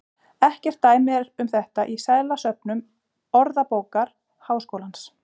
Ekkert dæmi er um þetta í seðlasöfnum Orðabókar Háskólans.